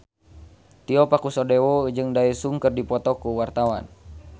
Tio Pakusadewo jeung Daesung keur dipoto ku wartawan